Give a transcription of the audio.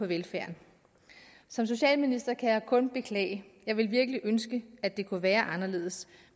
velfærden som socialminister kan jeg kun beklage jeg ville virkelig ønske at det kunne være anderledes